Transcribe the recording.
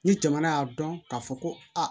Ni jamana y'a dɔn k'a fɔ ko aa